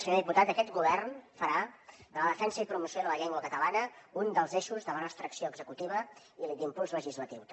senyor diputat aquest govern farà de la defensa i promoció de la llengua catalana un dels eixos de la nostra acció executiva i d’impuls legislatiu també